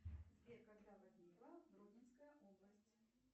сбер когда возникла гродненская область